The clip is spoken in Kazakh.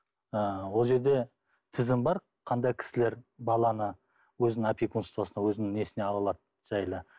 ы ол жерде тізім бар қандай кісілер баланы өзінің опекунствосына өзінің несіне ала алады жайлы